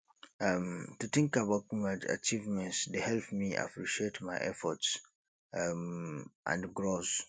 um to think about my achievements dey help me appreciate my efforts um and growth